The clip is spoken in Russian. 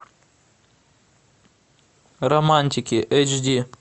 романтики эйч ди